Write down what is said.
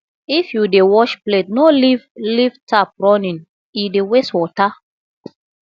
if you dey wash plate no leave leave tap running e dey waste water